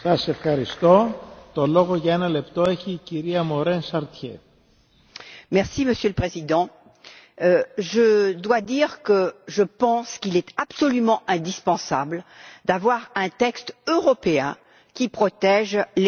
Monsieur le Président, je pense qu'il est absolument indispensable d'avoir un texte européen qui protège les femmes au travail, y compris dans la dimension de la maternité.